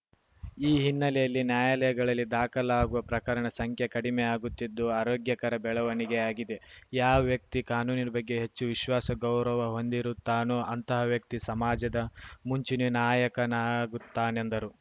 ಈ ಹಿನ್ನೆಲೆಯಲ್ಲಿ ನ್ಯಾಯಾಲಯಗಳಲ್ಲಿ ದಾಖಲಾಗುವ ಪ್ರಕರಣ ಸಂಖ್ಯೆ ಕಡಿಮೆಯಾಗುತ್ತಿದ್ದು ಆರೋಗ್ಯಕರ ಬೆಳವಣಿಗೆಯಾಗಿದೆ ಯಾವ ವ್ಯಕ್ತಿ ಕಾನೂನಿನ ಬಗ್ಗೆ ಹೆಚ್ಚು ವಿಶ್ವಾಸ ಗೌರವಹೊಂದಿರುತ್ತಾನೋ ಅಂತಹ ವ್ಯಕ್ತಿ ಸಮಾಜದ ಮುಂಚೂಣಿ ನಾಯಕನಾಗುತ್ತಾನೆಂದರು